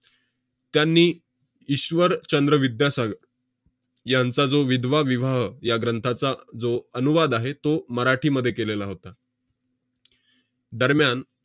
त्यांनी 'ईश्वर चंद्र विद्यासागर' यांचा जो 'विधवा विवाह' या ग्रंथाचा जो अनुवाद आहे, तो मराठीमध्ये केलेला होता. दरम्यान